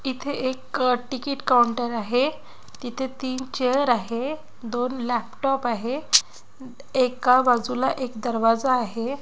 इथे एक ticket counter आहे तिथे तीन चेअर आहे दोन लॅपटॉप आहे एका बाजूला एक दरवाजा आहे.